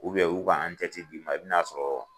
u y'u ka d'i ma i bɛ n'a sɔrɔ